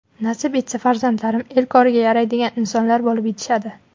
Nasib etsa farzandlarim el koriga yaraydigan insonlar bo‘lib yetishadi”.